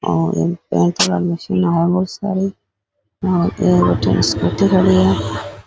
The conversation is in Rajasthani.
बठन स्कूटी खड़ी है।